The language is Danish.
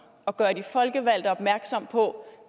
og gøre de folkevalgte opmærksom på